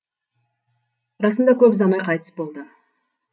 расында көп ұзамай қайтыс болды